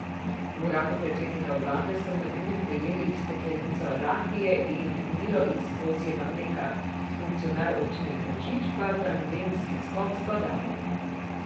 V uradu predsednika vlade so med drugim prejeli steklenico rakije in milo iz kozjega mleka, funkcionar občine Tržič pa tandemski skok s padalom.